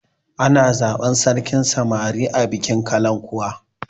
Ana zaban sarkin samari a bikin kalankuwa